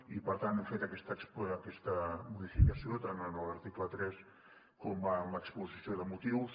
i per tant hem fet aquesta modificació tant en l’article tres com en l’exposició de motius